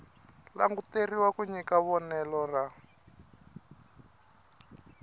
languteriwa ku nyika vonelo ra